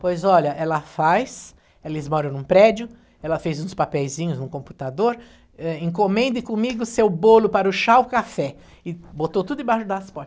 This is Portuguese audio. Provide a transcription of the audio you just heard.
Pois olha, ela faz, eles moram num prédio, ela fez uns papeizinhos no computador, eh, encomende comigo seu bolo para o chá ou café, e botou tudo embaixo das